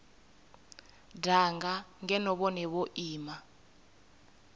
danga ngeno vhone vho ima